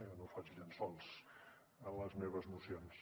jo no faig llençols a les meves mocions